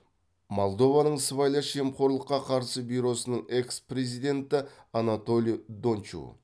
молдованың сыбайлас жемқорлыққа қарсы бюросының экс президенті анатолий дончу